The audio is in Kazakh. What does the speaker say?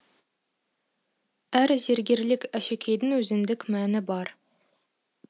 әр зергерлік әшекейдің өзіндік мәні бар